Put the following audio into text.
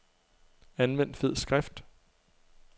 Anvend fed skrift.